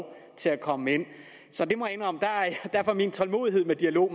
til at komme ind så jeg må indrømme at min tålmodighed med dialog